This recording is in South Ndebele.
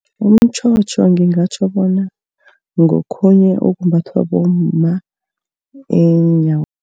Umtjhotjho ngingatjho bona ngokhunye okumbathwa bomma